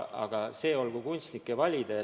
Aga see olgu kunstnike valida.